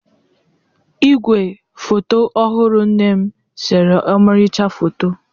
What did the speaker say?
Igwe foto ọhụrụ nne m sere ọmarịcha foto.